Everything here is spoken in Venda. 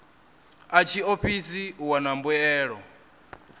a tshiofisi u wana mbuelo